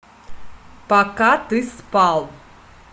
пока ты спал